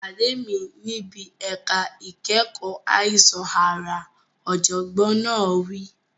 Pàdé mi níbi ẹ̀ka ìkẹ́kọ̀ọ́ àìsàn ara, ọ̀jọ̀gbọ́n náà wí.